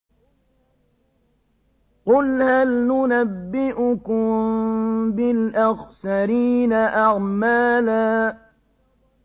قُلْ هَلْ نُنَبِّئُكُم بِالْأَخْسَرِينَ أَعْمَالًا